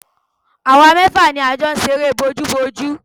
Àwa mẹ́fà ni a jọ ń ṣe eré bójúbojú